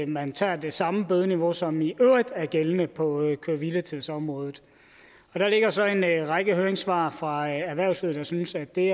man tager det samme bødeniveau som i øvrigt er gældende på køre hvile tids området der ligger så en række høringssvar fra erhvervslivet der synes at det